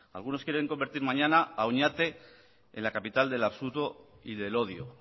algunos quieren convertir mañana a oñate en la capital del absurdo y del odio